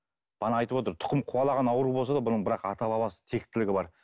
бағана айтып отыр тұқым қуалаған ауру болса да бұның бірақ ата бабасы тектілігі бар